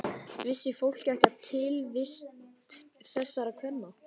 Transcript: Vissi fólk ekki af tilvist þessara kvenna?